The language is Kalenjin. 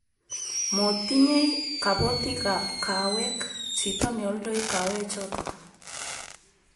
motinyei kabotikab kawek chito neoldoi kawechoto